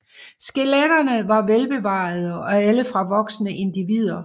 Skeletterne var velbevarede og alle fra voksne individer